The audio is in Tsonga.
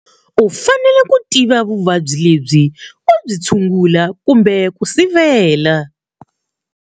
U fanele ku tiva vuvabyi lebyi u byi tshungula kumbe ku sivela.